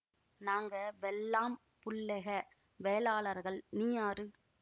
நாங்க வெள்ளாம் புள்ளெக வேளாளர்கள் நீ யாரு